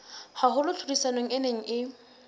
haholo tlhodisanong e neng e